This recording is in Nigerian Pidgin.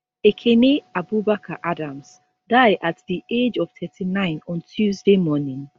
ekene abubakar adams die at di age of 39 on tuesday morning